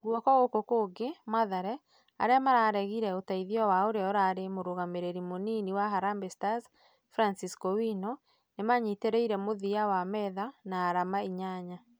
Guoka goko kũngi, mathare, arĩa marageire ũteithio wa ũria urarĩ mũrugamĩrĩri mũnini wa harambee stars Francisco wino ,nĩmanyiterĩite mũthia wa metha na arama inyanya